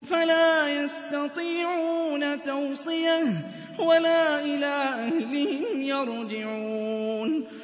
فَلَا يَسْتَطِيعُونَ تَوْصِيَةً وَلَا إِلَىٰ أَهْلِهِمْ يَرْجِعُونَ